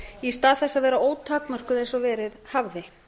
í stað þess að vera ótakmörkuð eins og verið hafði